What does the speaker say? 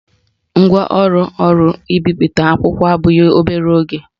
Ngwaọrụ ọrụ mbipụta akwụkwọ abụghị obere ego